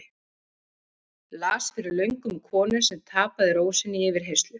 Las fyrir löngu um konu sem tapaði ró sinni í yfirheyrslu.